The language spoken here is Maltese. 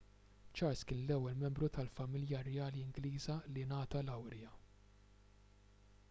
charles kien l-ewwel membru tal-familja rjali ingliża li ngħata lawrja